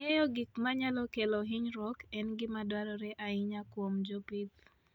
Ng'eyo gik manyalo kelo hinyruok en gima dwarore ahinya kuom jopith.